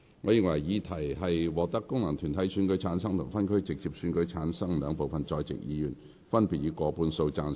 我認為議題獲得經由功能團體選舉產生及分區直接選舉產生的兩部分在席議員，分別以過半數贊成。